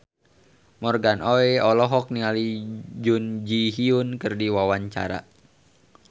Morgan Oey olohok ningali Jun Ji Hyun keur diwawancara